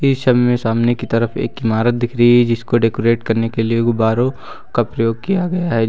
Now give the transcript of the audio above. इस छवि में सामने की तरफ एक इमारत दिख रही है जिसको डेकोरेट करने के लिए गुब्बारों का प्रयोग किया गया है।